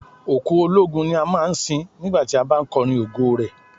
Òkú ológun ni a máa ń sin nígbà tí a bá ń kọrin ògo rẹ̀.